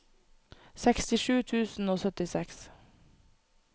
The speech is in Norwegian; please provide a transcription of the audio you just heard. sekstisju tusen og syttiseks